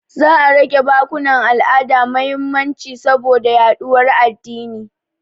Za a rage ba bukkunan al'ada mahimmanci saboda yaɗuwar addini.